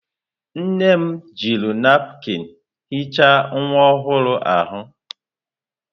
Nne m jiri napụkịn hichaa nwa ọhụrụ ahụ.